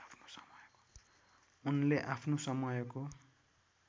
उनले आफ्नो समयको